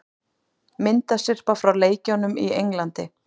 Myndasyrpa frá leikjunum í Englandi